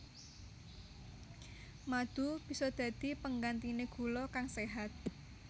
Madu bisa dadi penggantiné gula kang séhat